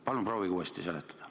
Palun proovige uuesti seletada.